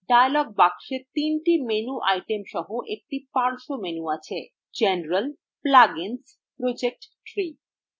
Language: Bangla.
dialog box তিনটি menu items সহ একটি পার্শ্ব menu আছে